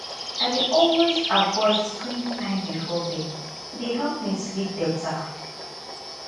i dey always avoid screen time before bed e dey help me sleep better